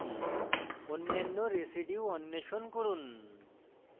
অন্যান্য residues অন্বেষণ করুন